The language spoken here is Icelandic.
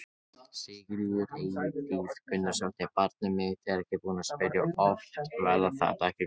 Sigríður Edith Gunnarsdóttir: Barnið mitt er búið að spyrja oft: Verða þetta ekki góð jól?